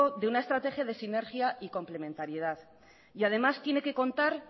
de una estrategia de sinergia y complementariedad además tiene que contar